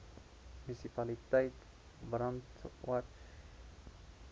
munisipaliteit brandwatch